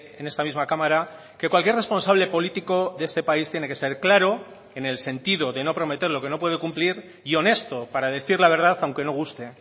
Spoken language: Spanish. en esta misma cámara que cualquier responsable político de este país tiene que ser claro en el sentido de no prometer lo que no puede cumplir y honesto para decir la verdad aunque no guste